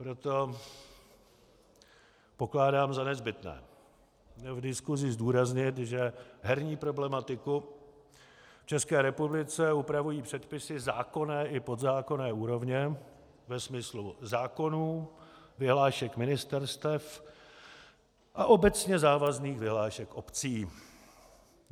Proto pokládám za nezbytné v diskusi zdůraznit, že herní problematiku v České republice upravují předpisy zákonné i podzákonné úrovně ve smyslu zákonů, vyhlášek ministerstev a obecně závazných vyhlášek obcí.